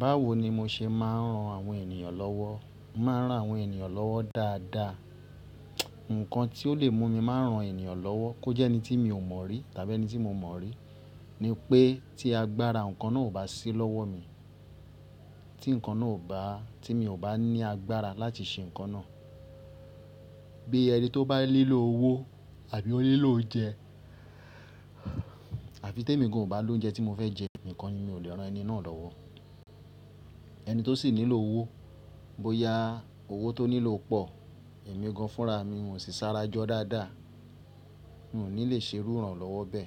Báwo ni mo ṣe máa ń ran àwọn ènìyàn lọ́wọ́. Máa ń ran àwọn ènìyàn lọ́wọ́ dáadáa. Ǹkan tí ó lè mú mi máa rán ènìyàn lọ́wọ́, kó jẹ́ ẹni tí mi ò mọ̀ rí tàbí ẹni tí mo mọ̀ rí, ni pé tí agbára nǹkan náà ò bá sí lọ́wọ́ mi, tí nǹkan náà ò bá-- tí mi ò bá ní agbára láti ṣe nǹkan náà, bíi ẹni tí ó bá nílò owó àbí ó nílò oúnjẹ àfi témi gan ò bá lóúnjẹ tí mo fẹ́ jẹ nìkan ni mi ò lè rán ẹni náà lọ́wọ́. Ẹni tó sì nílò owó, bó ya owó tó nílò pọ̀, èmi gan fúnra mi, n ò sì sárájọ́ dáadáa, n ò ní lè ṣerú ìrànlọ́wọ́ bẹ.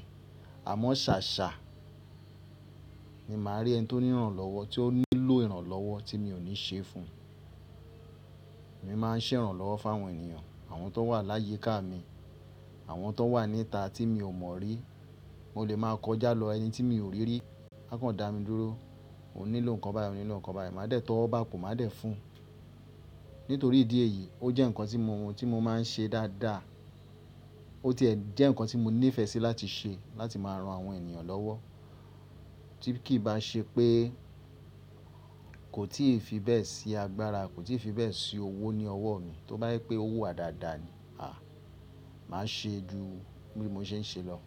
Àmọ́ ṣàṣà, ni màá rí ẹni tó ní ìrànlọ́wọ́, tí ó nílò ìrànlọ́wọ́ tí mi ò ní ṣe fun. Èmi máa ń ṣèrànlọ́wọ́ fáwọn ènìyàn, àwọn tó wà láyi ká mi, àwọn tó wà níta tí mi ò mọ̀ rí, mo lè máa kọjá lọ ẹni tí mi ò rí rí, a kàn dá mi dúró, òun nílò nǹkan báyìí, òun nílò nǹkan báyìí, màá dẹ̀ tówọ́ bápo, má dẹ̀ fún un. Nítorí ìdí èyí, ó jẹ́ nǹkan tí mo, tí mo máa ń ṣe dáadáa. Ó ti ẹ̀ jẹ́ nǹkan tí mo nífẹ̀ẹ́ sí láti ṣe, láti máa ran àwọn ènìyàn lọ́wọ́. Tí kì bá ṣe pé kò tí ì fi bẹ́ẹ̀ sí agbára, kò tí ì fi bẹ́ẹ̀ sí owó ní ọwọ́ mi, tó bá ní pé owó wa dáadáa ni, à, màá ṣe ju bí mo ṣe ń ṣe lọ.